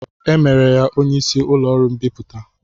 E mere ya onye isi ụlọọrụ mbipụta